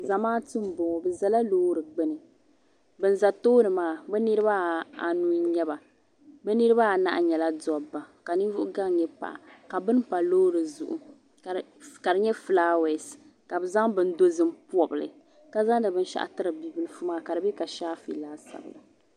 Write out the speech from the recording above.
Zamaatu mboŋɔ bɛ zala loori gbini ban za tooni maa bɛ niriba anu n nyɛ ba bɛ niriba anahi nyɛla dabba ka ninvuɣu gaŋ nyɛ paɣa ka bini pa loori zuɣu ka di nyɛ filaawaasi ka bɛ zaŋ bini dozim pobi li ka zaŋdi binshaɣu tiri bia bibilifu maa ka di be ka shaafe laasabu la.